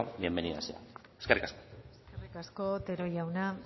bienvenida sea eskerrik asko eskerrik asko otero jauna